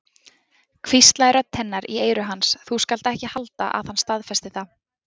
hvíslaði rödd hennar í eyru hans, þú skalt ekki halda að hann staðfesti það.